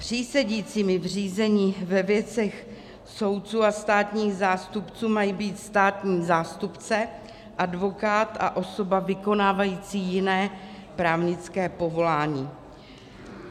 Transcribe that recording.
Přísedícími v řízení ve věcech soudců a státních zástupců mají být státní zástupce, advokát a osoba vykonávající jiné právnické povolání.